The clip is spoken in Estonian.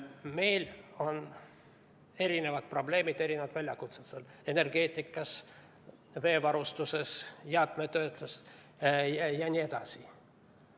Meil on erinevad probleemid, erinevad väljakutsed energeetikas, veevarustuses, jäätmetöötluses jne.